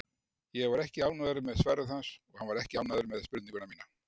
Ég var ekki ánægður með svarið hans, og hann var ekki ánægður með spurninguna mína.